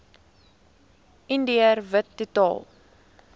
indiër wit totaal